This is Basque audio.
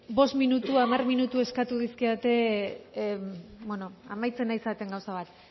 bost minutu hamar minutu eskatu dizkidate bueno amaitzen ari zareten gauza bat